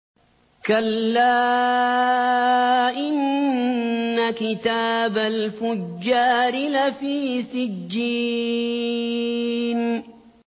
كَلَّا إِنَّ كِتَابَ الْفُجَّارِ لَفِي سِجِّينٍ